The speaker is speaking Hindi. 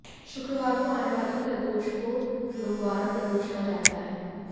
शुक्रवार को आने वाली प्रदोष को भ्रुगुवारा प्रदोष कहा जाता है